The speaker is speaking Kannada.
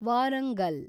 ವಾರಂಗಲ್